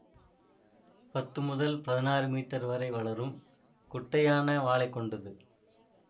பத்து முதல் பதினாறு மீட்டர் வரை வளரும் குட்டையான வாலைக்கொண்டது